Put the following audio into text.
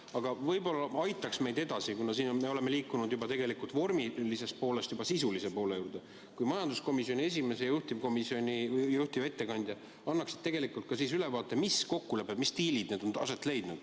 Aga võib-olla aitaks meid edasi see, kuna oleme juba liikunud vormilise poole juurest sisulise poole juurde, kui majanduskomisjoni esimees ja juhtivettekandja annaksid ülevaate, mis kokkulepped, mis diilid on aset leidnud.